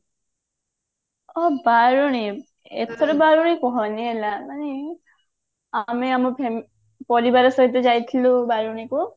ଓ ବାରେଣୀ ଏପଟେ ବାରେଣୀ କହନି ହେଲା ମାନେ ଆମେ ଆମ fami ପରିବାର ସହିତ ଯାଇଥିଲୁ ବାରେଣୀକୁ